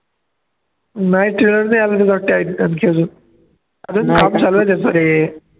नाही trailer नाही अजून अजून कामं चालू आहे त्याचं ते